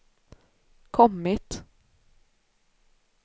kommit